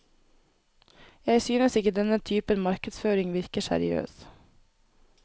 Jeg synes ikke denne typen markedsføring virker seriøs.